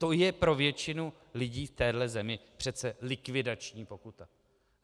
To je pro většinu lidí v této zemi přece likvidační pokuta.